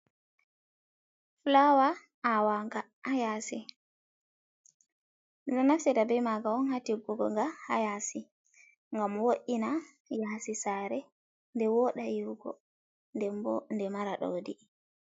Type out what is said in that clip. Fullawa awaga hayasi, ɗomɗo naftira ɓe maga'on hatiggugo ga hayasi, gam wo’ina yasi sare, nɗe woɗa yiwugo ɗenbo ɗe mara ɗaudi.